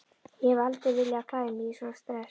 Ég hef aldrei viljað klæða mig í svona dress.